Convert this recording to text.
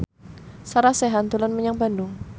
Sarah Sechan dolan menyang Bandung